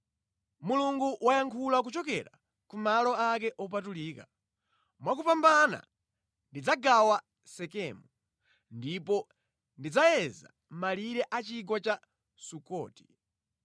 Mulungu wayankhula kuchokera ku malo ake opatulika: “Mwakupambana ndidzagawa Sekemu ndipo ndidzayeza malire a chigwa cha Sukoti.